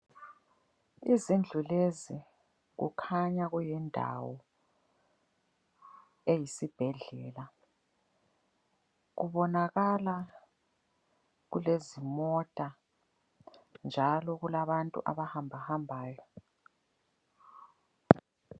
Izindlu lezi kukhanya kuyindawo eyisibhedlela. Kubonakala kulezimota njalo kulabantu abahambahambayo.